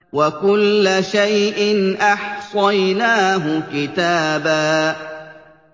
وَكُلَّ شَيْءٍ أَحْصَيْنَاهُ كِتَابًا